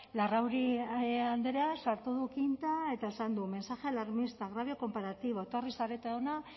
larrauri andrea sartu du quinta eta esan du mensaje alarmista agravio comparativo etorri zarete hona